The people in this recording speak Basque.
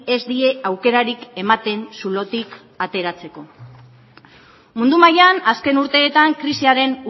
ez die aukerarik ematen zulotik ateratzeko mundu mailan azken urteetan krisiaren